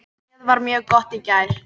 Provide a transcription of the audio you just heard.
Hnéð var mjög gott í gær.